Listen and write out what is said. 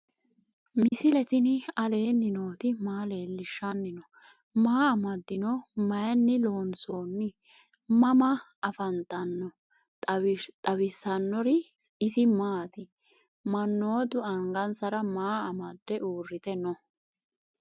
misile tini alenni nooti maa leelishanni noo? maa amadinno? Maayinni loonisoonni? mama affanttanno? xawisanori isi maati? manootu angansara maa amade uuritte noo?